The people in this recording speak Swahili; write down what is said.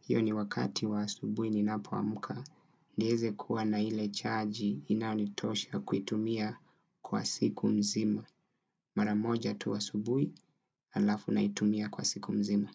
Hiyo ni wakati wa asubuhi ninapoamka. Nieze kuwa na ile chaji inanitosha kuitumia kwa siku mzima. Maramoja tu asubuhi alafu naitumia kwa siku mzima.